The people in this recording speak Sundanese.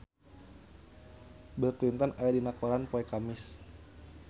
Bill Clinton aya dina koran poe Kemis